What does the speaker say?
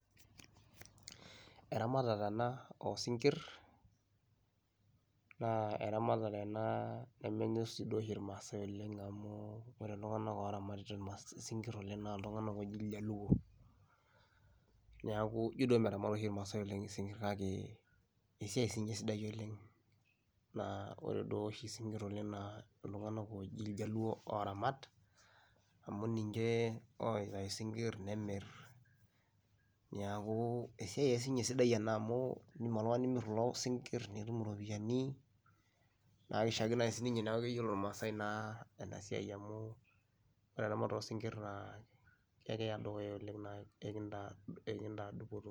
Eramatata ena oo sinkir naa eramatare ena nemenyor sii duo oshi irmaasai oleng' amu ore iltung'anak oramatita ina isinkir oleng' naa itung'anak ooji iljaluo. Neeku ijo duo meramat oshi irmaasai oleng' isinkir kake esiai siinye sidai oleng' naa ore duo oshi isinkir oleng' naa itung'anak ooji iljaluo ooramat, amu ninje oitayu sinkir nemir. Neeku esiai ake siinye sidai ena amu iindim oltung'ani nimir kulo sinkir nitum iropiani naa kishaakino ake sininye neeku iyiolo irmaasai naa ena siai amu ore eramata naa kekiya dukuya oleng' naa kekintaa kekintaa dupoto.